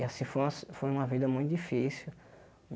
E assim, foi uma si foi vida muito difícil.